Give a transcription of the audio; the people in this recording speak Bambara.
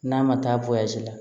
N'a ma taa la